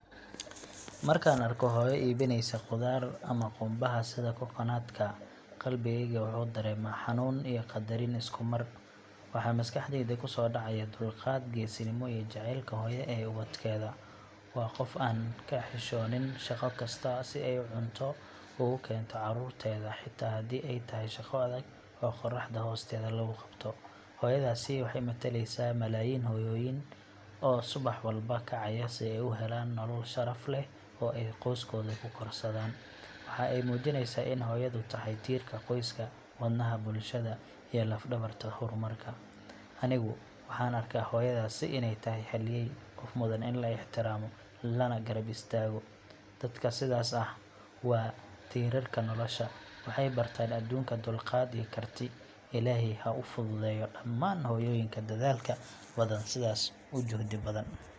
Markaan arko hooyo iibinaysa qudaar ama qumbaha sida coconut ka, qalbigayga wuxuu dareemaa xanuun iyo qadarin isku mar. Waxaa maskaxdayda ku soo dhacaya dulqaad, geesinimo, iyo jacaylka hooyo ee ubadkeeda. Waa qof aan ka xishoonin shaqo kasta si ay cunto ugu keento carruurteeda, xitaa haddii ay tahay shaqo adag oo qorraxda hoosteeda lagu qabto. Hooyadaasi waxay mataleysaa malaayiin hooyooyin oo subax walba kacaya si ay u helaan nolol sharaf leh oo ay qoysaskooda ku korsadaan. Waxa ay muujinaysaa in hooyadu tahay tiirka qoyska, wadnaha bulshada, iyo laf-dhabarta horumarka. Anigu waxaan arkaa hooyadaasi inay tahay halyey, qof mudan in la ixtiraamo lana garab istaago. Dadka sidaas ah waa tiirarka nolosha waxay bartaan adduunka dulqaad iyo karti. Ilaahay ha u fududeeyo dhammaan hooyooyinka dadaalka badan sidaas u juhdi badan.